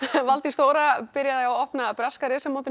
Valdís Þóra byrjaði á opna breska meistaramótinu í